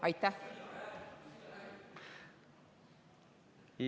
Aitäh!